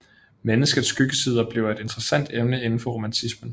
Menneskets skyggesider bliver et interessant emne indenfor romantismen